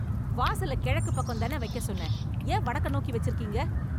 வாசல கிழக்கு பக்கம் தான வைக்க சொன்னேன் ஏன் வடக்க நோக்கி வைச்சிருக்கிங்க